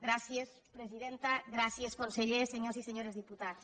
gràcies presidenta gràcies conseller senyores i senyors diputats